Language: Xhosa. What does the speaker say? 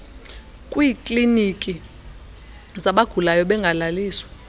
kwiikliiniki zabagula bengalaliswa